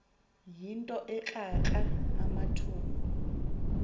yinto ekrakra amathumbu